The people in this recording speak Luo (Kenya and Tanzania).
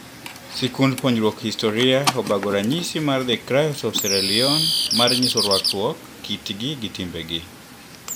Sikund puonjruok historia obago Ranyisi mar "The Krios of sierra Leone" mar nyiso rwakruok, kitgi gi timbegi.